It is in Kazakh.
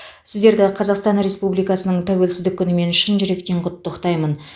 сіздерді қазақстан республикасының тәуелсіздік күнімен шын жүректен құттықтаймын